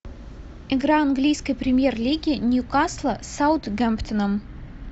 игра английской премьер лиги ньюкасла с саутгемптоном